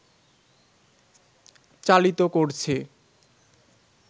চালিত করছে